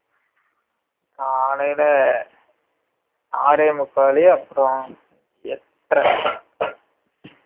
காலைல ஆறே முக்கால் அப்பறம் எட்டர